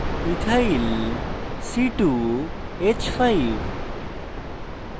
ethyl ethyl c2h5